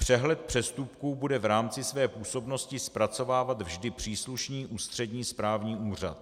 Přehled přestupků bude v rámci své působnosti zpracovávat vždy příslušný ústřední správní úřad.